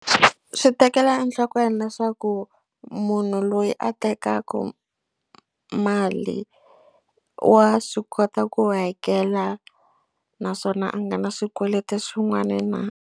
Swi tekela enhlokweni leswaku munhu loyi a tekaka mali wa swi kota ku hakela naswona a nga na swikweleti swin'wana na.